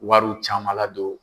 Wariw caman ladon